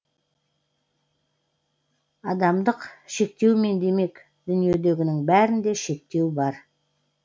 адамдық шектеумен демек дүниедегінің бәрінде шектеу бар